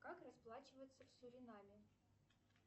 как расплачиваться в суринаме